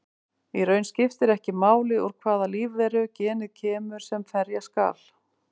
Í raun skiptir ekki máli úr hvaða lífveru genið kemur sem ferja skal.